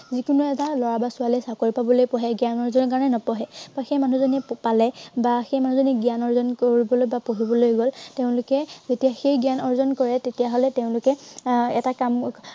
যি কোনো এটা লৰা বা ছোৱালীয়ে চাকৰি পাবলৈ পঢ়ে। জ্ঞান অৰ্জনৰ কাৰনে নপঢ়ে। বা সেই মানুহজনীয়ে পালে বা সেই মানুহজনীয়ে জ্ঞান অৰ্জন কৰিবলৈ বা পঢ়িবলৈ গল, তেওঁলোকে তেতিয়া সেই জ্ঞান অৰ্জন কৰে তেতিয়া হলে তেওঁলোকে আহ এটা কাম